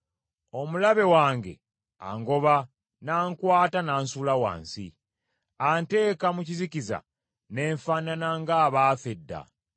Omulabe wange angoba n’ankwata n’ansuula wansi; anteeka mu kizikiza ne nfaanana ng’abaafa edda.